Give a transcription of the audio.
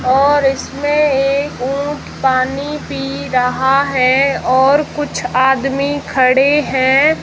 और इसमें एक ऊंट पानी पी रहा है और कुछ आदमी खड़े हैं।